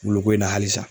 Woloko in na halisa